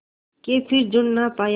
के फिर जुड़ ना पाया